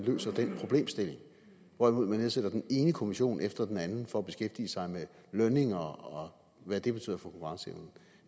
løser den problemstilling hvorimod man nedsætter den ene kommission efter den anden for at beskæftige sig med lønninger og hvad de betyder for konkurrenceevnen